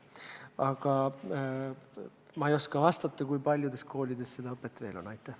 Aga ma ei oska vastata, kui paljudes koolides seda õpet veel pakutakse.